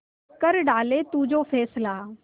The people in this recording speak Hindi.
कर डाले तू जो फैसला